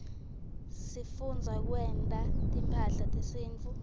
sifundza kwenta timphahla tesintfu